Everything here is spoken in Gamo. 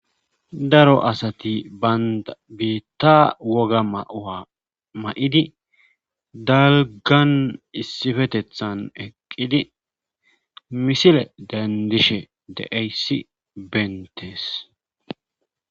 Daro asati baynda biitta woga maa ma'idi dalgan issifetethan eqqidi misile dandishe deeyssi bentees.